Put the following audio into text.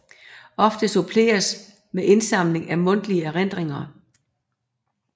Ofte suppleres med indsamling af mundtlige erindringer